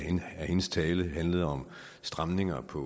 af hendes tale handlede om stramninger på